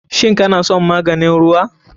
Shin kana son maganin ruwa?